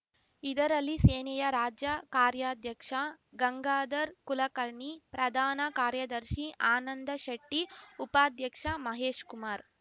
ಇದರಲ್ಲಿ ಸೇನೆಯ ರಾಜ್ಯ ಕಾರ್ಯಾಧ್ಯಕ್ಷ ಗಂಗಾಧರ್‌ ಕುಲಕರ್ಣಿ ಪ್ರಧಾನ ಕಾರ್ಯದರ್ಶಿ ಆನಂದಶೆಟ್ಟಿ ಉಪಾಧ್ಯಕ್ಷ ಮಹೇಶ್‌ಕುಮಾರ್‌